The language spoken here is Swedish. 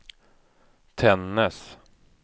Tännäs